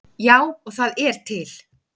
Já, og það er til.